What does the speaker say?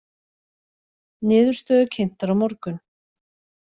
Niðurstöður kynntar á morgun